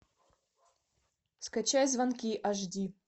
скачай звонки аш ди